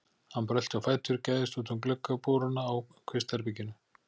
Hann brölti á fætur og gægðist út um gluggaboruna á kvistherberginu.